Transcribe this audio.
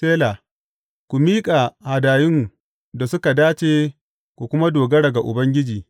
Sela Ku miƙa hadayun da suka dace ku kuma dogara ga Ubangiji.